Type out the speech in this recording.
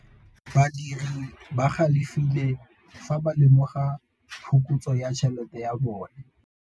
Badiri ba galefile fa ba lemoga phokotsô ya tšhelête ya bone.